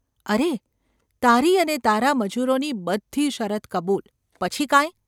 ‘અરે ! તારી અને તારા મજૂરોની બધી શરત કબૂલ ! પછી ​ કાંઈ?